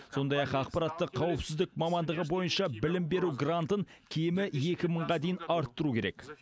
сондай ақ ақпараттық қауіпсіздік мамандығы бойынша білім беру грантын кемі екі мыңға дейін арттыру керек